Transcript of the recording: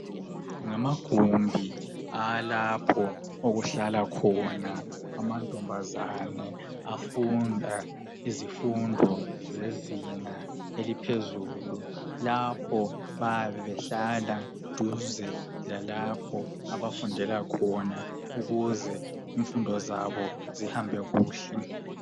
Ngamagumbi awalapho okuhlala amantombazana afunda izifundo zezinga eliphezulu lapho bayabe behlala duze lalapho abafundela khona ukuze imfundo zabo zihambe kuhle.